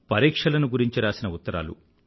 పరీక్షలను గురించి రాసిన ఉత్తరాలు